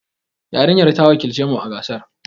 Yarinyar ta wakilci mu a gasar.